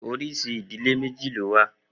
Oríṣi ìdílé méjì ló wà.